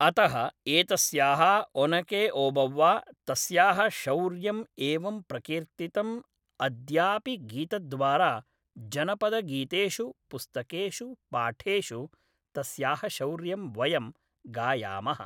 अतः एतस्याः ऒनकेऒभव्वा तस्याः शौर्यं एवं प्रकिर्तितम् अद्यापि गीतद्वारा जनपदगीतेषु पुस्तकेषु पाठेषु तस्याः शौर्यं वयं गायामः